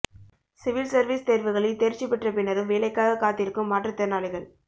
civil service தேர்வுகளில் தேர்ச்சி பெற்றபின்னரும் வேலைக்காகக் காத்திருக்கும் மாற்றுத் திறனாளிகள்